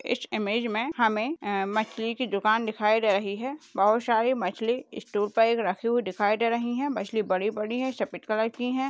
इस इमेज में हमे मछली की दुकान दिखाई दे रही है बहुत सारी मछली स्टूल पी रखी दिखाई दे रही है मछली बड़ी बड़ी है सफेद कलर की है।